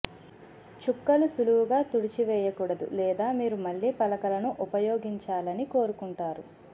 చుక్కలు సులువుగా తుడిచివేయకూడదు లేదా మీరు మళ్ళీ పలకలను ఉపయోగించాలని కోరుకుంటారు